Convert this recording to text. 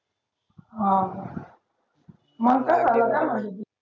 हा मग काय झालं काय म्हणली ती